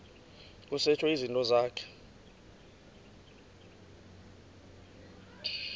kusetshwe izinto zakho